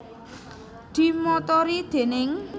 Dimotori déning